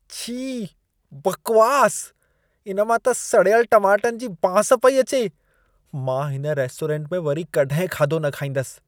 छी! बकवास! इन मां त सड़ियल टमाटनि जी बांस पई अचे। मां हिन रेस्टोरेंट में वरी कॾहिं खाधो न खाईंदसि।